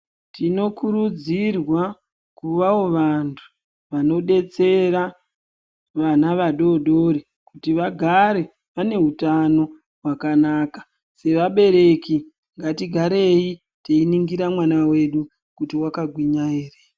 Tinokurudzirwa kuvawo vantu vanodetsera vana vadodori kuti vagare vane hutano hwakanaka sevabereki ngatigarei teiningira mwana wedu kuti wakagwinya ere